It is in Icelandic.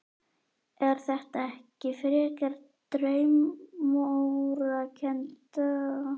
Er þetta ekki frekar draumórakennd ályktun þannig lagað?